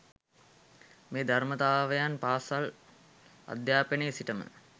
මේ ධර්මතාවයන් පාසල් අධ්‍යාපනයේ සිටම